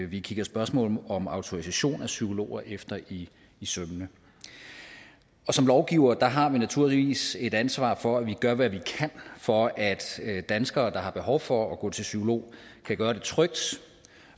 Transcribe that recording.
vi kigger spørgsmålet om autorisation af psykologer efter i sømmene som lovgivere har vi naturligvis et ansvar for at vi gør hvad vi kan for at danskere har behov for at gå til psykolog kan gøre det trygt